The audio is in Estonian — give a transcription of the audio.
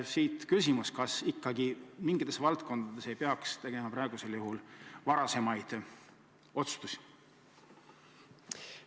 Siit minu küsimus: kas ikkagi mingites valdkondades ei peaks tegema varasemaid otsustusi?